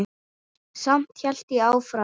Samt hélt ég áfram.